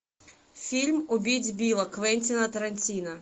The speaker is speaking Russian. фильм убить билла квентина тарантино